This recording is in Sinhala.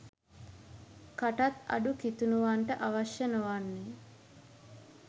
කටත් අඩු කිතුණුවන්ට අවශ්‍ය නොවන්නේ